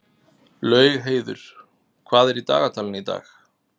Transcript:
Laugheiður, hvað er í dagatalinu í dag?